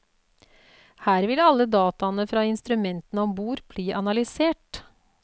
Her vil alle dataene fra instrumentene om bord bli analysert.